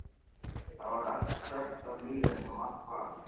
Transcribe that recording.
Þar var allt krökkt af lífi eins og vant var.